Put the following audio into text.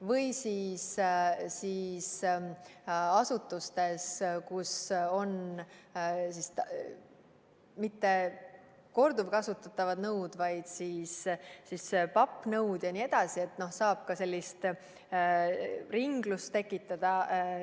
Või siis asutustes, kus ei ole mitte korduvkasutatavad nõud, vaid on pappnõud jne, saab ka sellist ringlust tekitada.